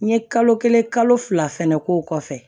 N ye kalo kelen kalo fila fɛnɛ k'o kɔfɛ